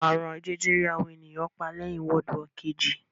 Àrùn jẹjẹrẹ àwọn ènìyàn pa lẹ́yìn W Kejì